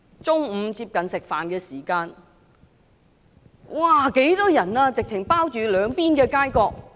接近午膳時間，土瓜灣人十分多，擠滿兩邊街角。